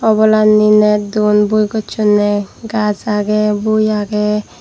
obolanni net don bui gossonne gaz agey bui agey.